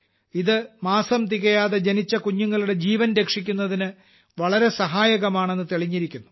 ഇത് മാസം തികയാതെ ജനിച്ച കുഞ്ഞുങ്ങളുടെ ജീവൻ രക്ഷിക്കുന്നതിന് വളരെ സഹായകമാണെന്ന് തെളിഞ്ഞിരിക്കുന്നു